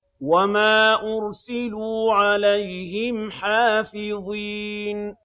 وَمَا أُرْسِلُوا عَلَيْهِمْ حَافِظِينَ